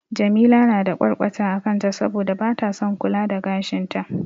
Jamila na da ƙwarƙwata a kanta saboda bata son kula da gashin ta.